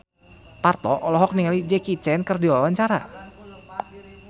Parto olohok ningali Jackie Chan keur diwawancara